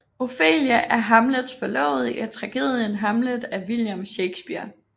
Ofelia er Hamlets forlovede i tragedien Hamlet af William Shakespeare